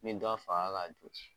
Min dɔ faga ka dugujɛ.